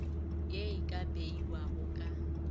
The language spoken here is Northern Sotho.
ye e ka beiwago ka